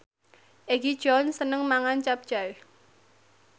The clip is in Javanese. Egi John seneng mangan capcay